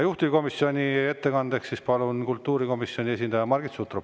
Juhtivkomisjoni ettekandeks palun siia kultuurikomisjoni esindaja Margit Sutropi.